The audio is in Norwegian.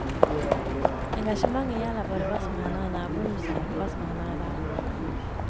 Engasjementet gjelder både hva som hender i nabohuset og hva som hender i verden.